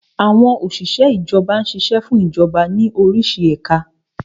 Àwọn Òsìsẹ́ Ìjọba ṣiṣẹ́ fún Ìjọba ní orísi ẹ̀ka